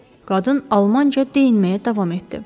Qadın almanca deyinməyə davam etdi.